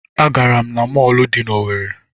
Agara m na mọọlụ dị n'Owerre.